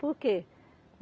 Por quê?